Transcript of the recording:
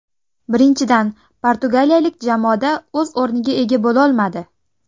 Birinchidan, portugaliyalik jamoada o‘z o‘rniga ega bo‘lolmadi.